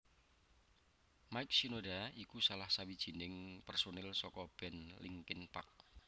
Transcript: Mike Shinoda iku salah sawijining pérsonil saka band Linkin Park